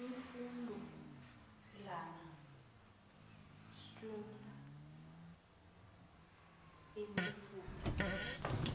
imifudlana streams imifula